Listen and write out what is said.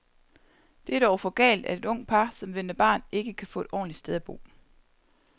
Det er dog for galt, at et ungt par, som venter barn, ikke kan få et ordentligt sted at bo.